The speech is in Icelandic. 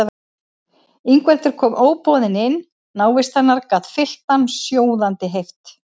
Ingveldur kom óboðin inn, návist hennar gat fyllt hann sjóðandi heift.